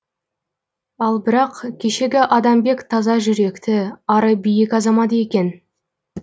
ал бірақ кешегі адамбек таза жүректі ары биік азамат екен